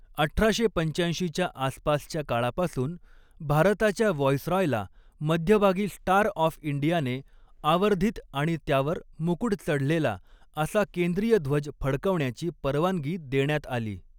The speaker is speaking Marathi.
अठराशे पंचाऐंशीच्या आसपासच्या काळापासून, भारताच्या व्हॉईसरॉयला मध्यभागी 'स्टार ऑफ इंडिया'ने आवर्धित आणि त्यावर मुकुड चढलेला असा केंद्रीय ध्वज फडकवण्याची परवानगी देण्यात आली.